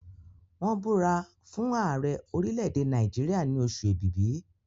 wón búra fún Ààrẹ orilẹ èdè Nàìjíríà ni Oṣù Ẹ̀bìbì.